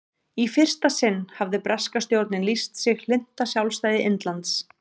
í fyrsta sinn hafði breska stjórnin lýst sig hlynnta sjálfstæði indlands